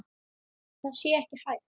Það sé ekki hægt.